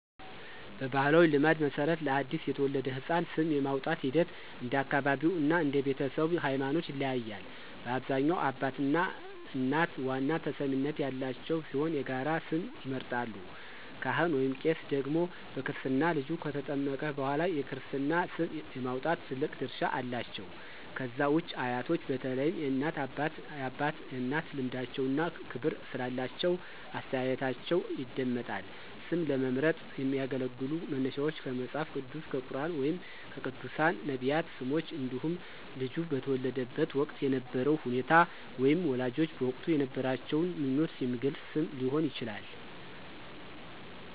በባሕላዊ ልማድ መሠረት፣ ለአዲስ የተወለደ ሕፃን ስም የማውጣቱ ሂደት እንደ አካባቢው እና እንደ ቤተሰቡ ሃይማኖት ይለያያል። በአብዛኛው አባትና እናት ዋና ተሰሚነት ያላቸው ሲሆን የጋራ ስም ይመርጣሉ። ካህን/ቄስ ደግሞ በክርስትና ልጁ ከተጠመቀ በኋላ የክርስትና ስም የማውጣት ትልቅ ድርሻ አላቸው። ከዛ ውጪ አያቶች በተለይም የእናት አባትና የአባት እናት ልምዳቸውና ክብር ስላላቸው አስተያየታቸው ይደመጣል። ስም ለመምረጥ የሚያገለግሉ መነሻዎች ከመጽሐፍ ቅዱስ፣ ከቁርኣን ወይም ከቅዱሳን/ነቢያት ስሞች እንዲሁም ልጁ በተወለደበት ወቅት የነበረውን ሁኔታ ወይም ወላጆች በወቅቱ የነበራቸውን ምኞት የሚገልጽ ስም ሊሆን ይችላል።